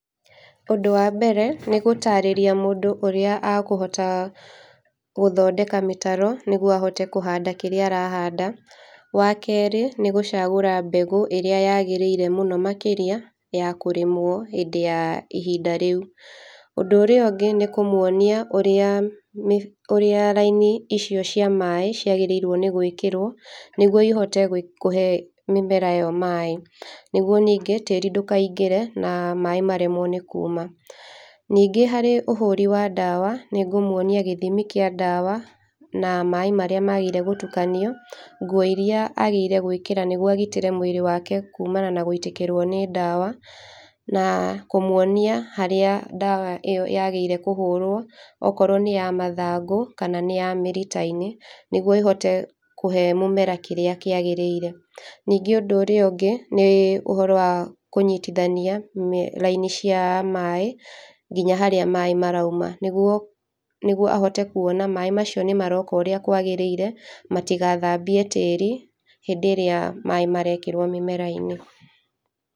Ũndũ wa mbere, nĩ gũtarĩria mũndũ ũrĩa akũhota gũthondeka mĩtaro nĩguo ahote kũhanda kĩrĩa arahanda. Wakerĩ nĩgũcagũra mbegũ ĩrĩa yagĩrĩire mũno makĩria ya kũrĩmwo hĩndĩ ya ihinda rĩu. Ũndũ ũrĩa ũngĩ nĩ kũmwonia ũrĩa mĩf ũrĩa raini icio cia maĩĩ ciagĩrĩirwo nĩ gwĩkĩrwo nĩguo ĩhote gwĩk kũhe mĩmera ĩyo maĩ nĩguo nĩngĩ tĩri ndũkaingĩre na maĩ maremwo nĩ kũũma. Ningĩ harĩ ũhũri wa ndawa nĩngũmuonia gĩthimi kĩa ndawa na maĩ marĩa magĩrĩirwo nĩ gũtukanio, nguo iria agĩrĩirwo nĩgwĩkĩra nĩguo agitĩre mwĩrĩ wake kũũmana na gũitĩkĩrwo nĩ ndawa na kũmwonia harĩa ndawa ĩyo yagĩrĩirwo nĩ kũhũrwo okorwo nĩ ya mathangu kana nĩ ya mĩrita-inĩ, nĩguo ĩhote kũhe mĩmera kĩrĩa kĩgĩrĩire. Ningĩ ũndũ ũrĩa ũngĩ nĩ ũhoro wa kũnyitithania mĩ raini cia maĩ, nginya harĩa maĩ marauma nĩguo nĩguo ahote kuona maĩ macio nĩ maroka ũrĩa kwagĩrĩire matigathambie tĩri hĩndĩ ĩrĩa maĩ marekĩrwo mĩmera-inĩ.